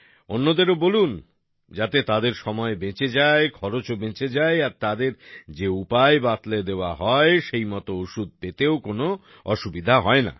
অন্যদেরও বলুন যাতে তাদের সময় বেঁচে যায় খরচও বেঁচে যায় আর তাঁদের যে উপায় বাতলে দেওয়া হয় সেইমতো ওষুধ পেতেও কোন অসুবিধা হয় না